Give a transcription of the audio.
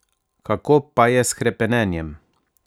Kako pa je s hrepenenjem?